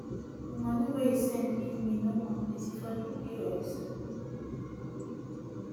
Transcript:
the money wey he send give me no complete he for do pos